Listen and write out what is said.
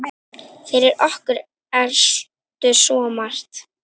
Fyrir okkur ertu svo margt.